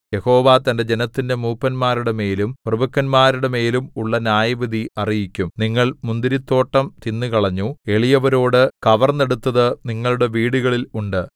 യഹോവ തന്റെ ജനത്തിന്റെ മൂപ്പന്മാരുടെമേലും പ്രഭുക്കന്മാരുടെമേലും ഉള്ള ന്യായവിധി അറിയിക്കും നിങ്ങൾ മുന്തിരിത്തോട്ടം തിന്നുകളഞ്ഞു എളിയവരോടു കവർന്നെടുത്തതു നിങ്ങളുടെ വീടുകളിൽ ഉണ്ട്